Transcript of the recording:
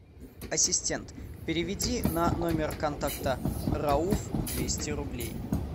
ассистент переведи на номер контакта рауф двести рублей